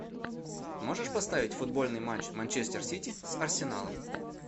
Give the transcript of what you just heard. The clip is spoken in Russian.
можешь поставить футбольный матч манчестер сити с арсеналом